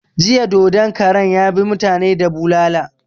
Jiya dodon karan ya bi mutani da bulala